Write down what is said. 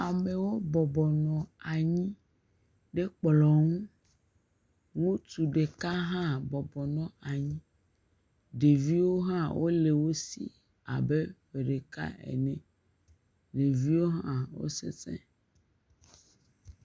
Amewo bɔbɔ nɔ anyi ɖe kplɔ̃ ŋu. Ŋutsu ɖeka hã bɔbɔ nɔ anyi. Ɖeviwo hã wole wo si abe ƒe ɖeka ene. Ɖeviwo hã wo sesẽ.